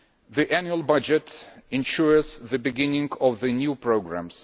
The annual budget ensures the beginning of the new programmes.